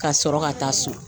Ka sɔrɔ ka taa so.